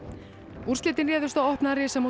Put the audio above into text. úrslitin réðust á opna